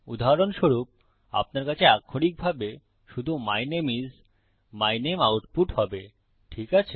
উদাহরণস্বরূপ আপনার কাছে আক্ষরিকভাবে শুধু my name is my name output হবে ঠিক আছে